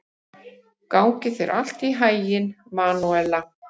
Gangi þér allt í haginn, Manúela.